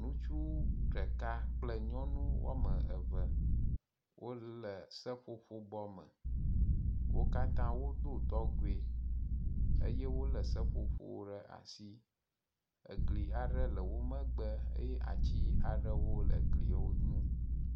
Ŋutsu ɖeka kple nyɔnu wɔme eve wo le seƒoƒo bɔ me. Wo katã wodo dɔgɔe eye wo le seƒoƒo ɖe asi. Egli aɖe le wo megbe eye ati aɖewo le egliwo nu.